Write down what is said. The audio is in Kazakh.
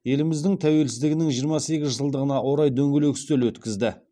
еліміздің тәуелсіздігінің жиырма сегіз жылдығына орай дөңгелек үстел өткізді